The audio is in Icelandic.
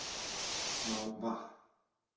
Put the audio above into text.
Smá vatn